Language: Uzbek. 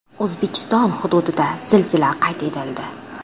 O‘zbekiston hududida zilzila qayd etildi.